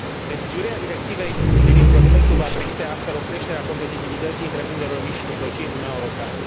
Revizuirea Directivei privind prospectul va permite, astfel, o creștere a competitivității întreprinderilor mici și mijlocii în Uniunea Europeană.